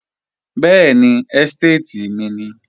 Bẹ́ẹ̀ni, ẹ́stéètì mi nìí